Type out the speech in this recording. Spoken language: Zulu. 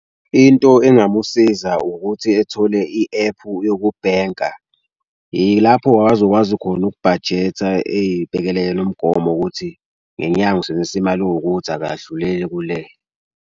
Into engamusiza ukuthi ethole i-ephu yokubhenka, yilapho-ke abazokwazi khona ukubhajetha eyibhekele yena umgomo wokuthi ngenyanga usebenzisa imali ewukuthi akadluleli kule.